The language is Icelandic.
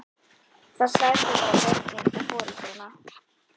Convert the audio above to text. Það særði bara börnin og foreldrana.